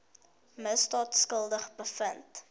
misdaad skuldig bevind